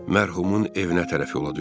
Mərhumun evinə tərəf yola düşdü.